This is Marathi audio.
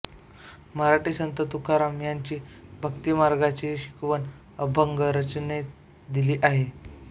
मराठी संत तुकाराम यांनी भक्तिमार्गाची शिकवण अभंग रचनेत दिली आहे